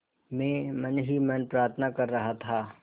मैं मन ही मन प्रार्थना कर रहा था